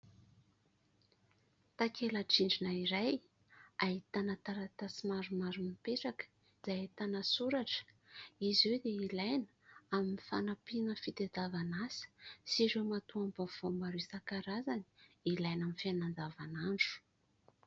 Takela-drindrina iray, ahitana taratasy maromaro mipetraka, izay ahitana soratra. Izy io dia ilaina amin'ny fanampiana fitadiavana asa, sy ireo matoam-baovao maro isan-karazany, ilaina amin'ny fianana andavanandro.